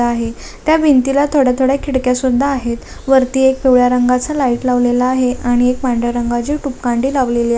आहे त्या भिंतीला थोड्या थोड्या खिडक्या सुद्धा आहेत वरती एक पिवळ्या रंगाचं लाईट लावलेलं आहे आणि एक पांढऱ्या रंगाची ट्यूब कांडी लावलेली आ--